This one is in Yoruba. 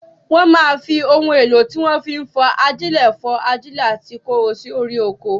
Wọ́n máa ń fi ohun èlò tí wọ́n fi ń fọ́n ajílẹ̀ fọ́n ajílẹ̀ àti kóró sí orí oko.